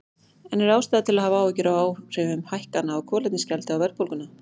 En er ástæða til að hafa áhyggjur af áhrifum hækkana á kolefnisgjaldi á verðbólguna?